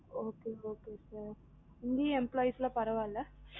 okay okay sir இங்கயும் employees லாம் பரவாயில்ல okay okay sir